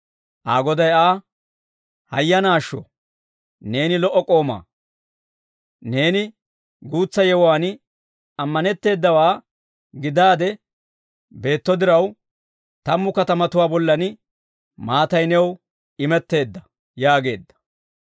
Aa Goday Aa, ‹Hayyanaashsho! Neeni lo"o k'oomaa; neeni guutsa yewuwaan ammanetteedawaa gidaade beetto diraw, tammu katamatuwaa bollan maatay new imetteedda› yaageedda.